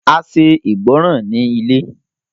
A ṣe ìgbọràn ní ilé.